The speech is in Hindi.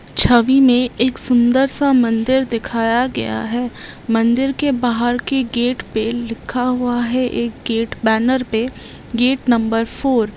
छवि में एक सुन्दर सा मन्दिर दिखाया गया है मंदिर के बाहर के गेट पर लिखा हुआ है एक गेट बैनर पे गेट नंबर फोर ।